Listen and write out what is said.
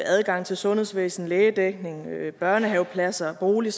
adgang til sundhedsvæsenet lægedækning børnehavepladser bolig